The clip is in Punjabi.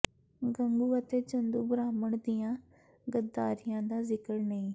ਗੰਗੂ ਅਤੇ ਚੰਦੂ ਬ੍ਰਾਹਮਣ ਦੀਆਂ ਗੱਦਾਰੀਆਂ ਦਾ ਜ਼ਿਕਰ ਨਹੀਂ